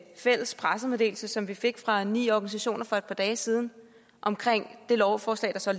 fælles pressemeddelelse som vi fik fra ni organisationer for et par dage siden om det lovforslag der så